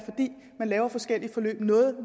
man laver forskellige forløb